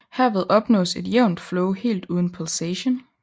Herved opnås et jævnt flow helt uden pulsation